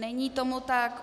Není tomu tak.